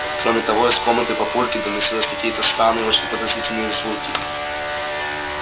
кроме того из комнаты папульки доносились какие-то странные и очень подозрительные звуки